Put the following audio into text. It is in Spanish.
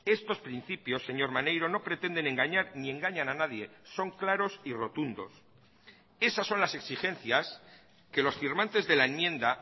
estos principios señor maneiro no pretenden engañar ni engañan a nadie son claros y rotundos esas son las exigencias que los firmantes de la enmienda